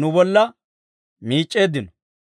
nu bolla miic'c'eeddino.